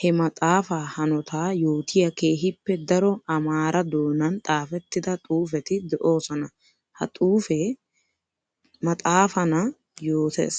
he maxafa hanota yootiya keehippe daro amaara doonan xaafetidda xuufetti de'osonna. Ha xuufe maxafanna yootes.